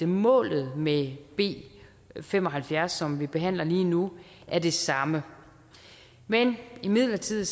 målet med b fem og halvfjerds som vi behandler lige nu er det samme men imidlertid